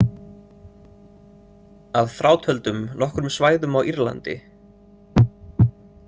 Að frátöldum nokkrum svæðum á Írlandi.